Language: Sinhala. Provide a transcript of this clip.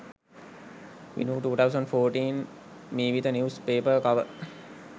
vinu 2014 meevitha news paper cover